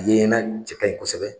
A ye ɲɛna cɛ kaɲi kosɛbɛ